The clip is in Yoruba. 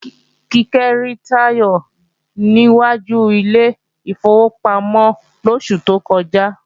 Kíkẹ́ rí Táyọ̀ ní wájú ilé ìfowópamọ́ lóṣù tó kọjá